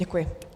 Děkuji.